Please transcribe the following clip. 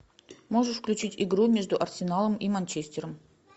можешь включить игру между арсеналом и манчестером